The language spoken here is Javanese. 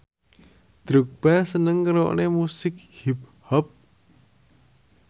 Drogba seneng ngrungokne musik hip hop